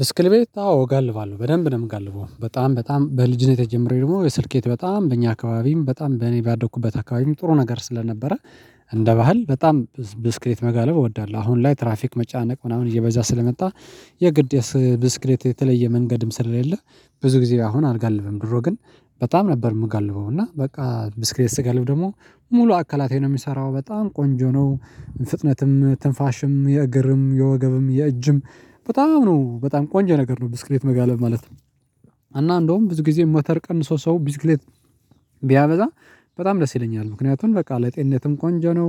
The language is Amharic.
ብስክሌ ት አዎ እጋልባለሁ በደንብ ነው የምጋልበው በጣም በጣም በልጅነቴ ጀምሬ ደግሞ ብስክሌት በጣም በእኛ አካባቢም በጣም በእኔ ባደኩበት አካባቢም ጥሩ ነገር ስለነበረ እንደ ባህል በጣም ብስክሌት መጋለብ እወዳለሁ። አሁን ላይ ትራፊክ መጨነቅ ምናምን እየበዛ ስለመጣ የግድ የስ ብስክሌት የተለየ መንገድም ስለሌለ ብዙ ጊዜ አሁን አልጋልብም። ድሮ ግን በጣም ነበር የምጋልበው እና በቃ ብስክሌት ስጋልብ ደግሞ ሙሉ አካላቴ ነው የሚሰራው በጣም ቆንጆ ነው። ፍጥነትም ትንፋሽም የእግርም የወገብም የእጅም በጣም ነው በጣም ቆንጆ ነገር ነው ብስክሌት መጋለብ ማለት ነው። እና እንደውም ብዙ ጊዜ ሞተር ቀንሶ ሰው ብስክሌት ቢያበዛ በጣም ደስ ይለኛል። ምክንያቱም በቃ ለጤነትም ቆንጆ ነው